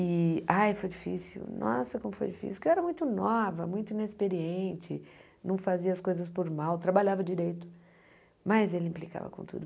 E, ai, foi difícil, nossa, como foi difícil, porque eu era muito nova, muito inexperiente, não fazia as coisas por mal, trabalhava direito, mas ele implicava com tudo.